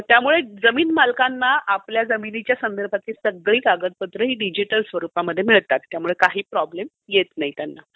त्यामुळे जमीन मालकांना आपल्या जमीन स्वरुपातील सगळी कागदपत्र ही डिजिटल स्वरूपमध्ये मिळतात. त्यामुळे काही प्रॉब्लेम येत नाही त्यांना.